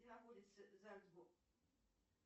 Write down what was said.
где находится зальцбург